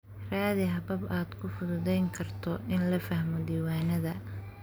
Raadi habab aad ku fududayn karto in la fahmo diiwaannada.